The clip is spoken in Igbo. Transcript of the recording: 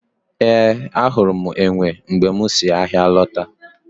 Ee, ahụrụ m enwe mgbe m si ahịa lọta